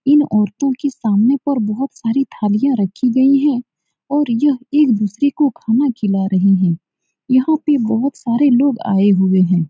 इन औरतों के सामने पर बोहोत सारे थालियां रखी गयी हैं और ये एक दूसरे को खाना खिला रही हैं। यहाँ पे बोहोत सारे लोग आये हुए हैं।